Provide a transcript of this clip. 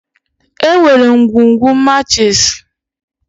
Enwere ngwugwu machiisi.